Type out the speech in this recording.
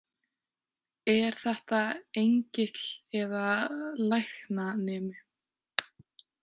Er þetta engill eða læknanemi?